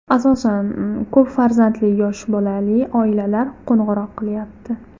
Asosan ko‘p farzandli, yosh bolali oilalar qo‘ng‘iroq qilyapti.